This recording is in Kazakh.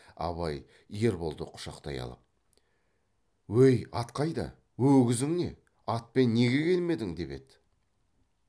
абай ерболды құшақтай алып өй ат қайда өгізің не атпен неге келмедің деп еді